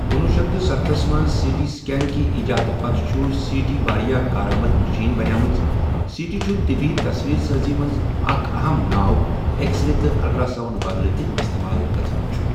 کنُۄہُ شیتھ تہٕ ستتھَ مَنٛز سی ٹی سکین کہِ ایجاد پَتہٕ چھُ سی ٹی واریاہ کار آمَد مَشیٖن بَنیٲمٔژ سی ٹی چھُ طِبی تَصویٖر سٲزی مَنٛز اَکھ اَہَم ناو اؠکسرے تہٕ اَلٹراسَوُنڈ بَدلہٕ تہِ اِستعمال گَژھان چھُ ۔